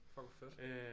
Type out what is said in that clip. Fuck hvor fedt